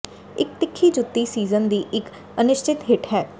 ਇੱਕ ਤਿੱਖੀ ਜੁੱਤੀ ਸੀਜ਼ਨ ਦੀ ਇੱਕ ਅਨਿਸ਼ਚਿਤ ਹਿੱਟ ਹੈ